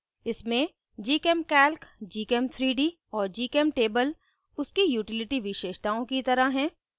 इसमें gchemcalc gchem3d और gchemtable उसके utility विशेषताओं की तरह हैं